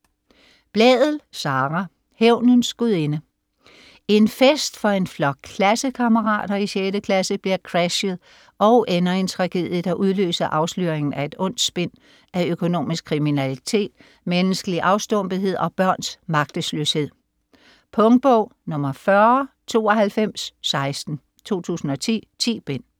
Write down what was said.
Blædel, Sara: Hævnens gudinde En fest for en flok klassekammerater i 6. klasse bliver crashet og ender i en tragedie, der udløser afsløringen af et ondt spind af økonomisk kriminalitet, menneskelig afstumpethed og børns magtesløshed. Punktbog 409216 2010. 10 bind.